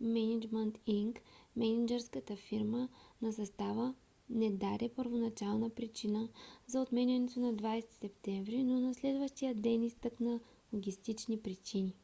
мениджмънт инк мениджърската фирма на състава не даде първоначална причина за отменянето на 20 септември но на следващия ден изтъкна логистични причини